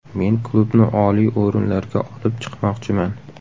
Men klubni oliy o‘rinlarga olib chiqmoqchiman.